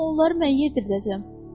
Axı onları mən yedirdəcəm.